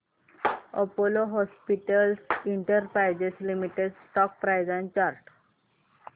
Apollo Hospitals Enterprise Limited stock price and chart